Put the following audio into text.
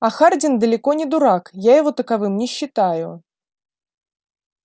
а хардин далеко не дурак я его таковым не считаю